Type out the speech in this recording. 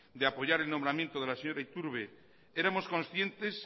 de apoyar el nombramiento de la señora iturbe éramos conscientes